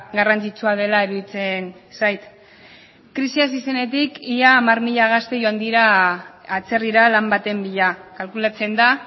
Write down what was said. garrantzitsua dela iruditzen zait krisia hasi zenetik ia hamar mila gazte joan dira atzerrira lan baten bila kalkulatzen da